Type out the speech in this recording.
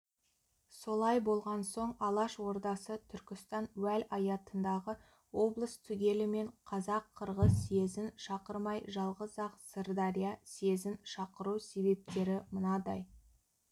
солай болған соң алаш ордасы түркістан уәлаятындағы облыс түгелімен қазақ-қырғыз съезін шақырмай жалғыз-ақ сырдария съезін шақыру себептері мынадай